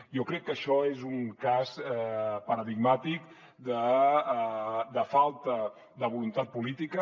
jo crec que això és un cas paradigmàtic de falta de voluntat política